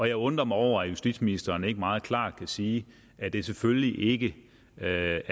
jeg undrer mig over at justitsministeren ikke meget klart kan sige at det selvfølgelig ikke er